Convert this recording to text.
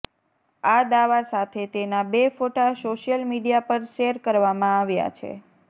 આ દાવા સાથે તેના બે ફોટા સોશિયલ મીડિયા પર શેર કરવામાં આવ્યા છે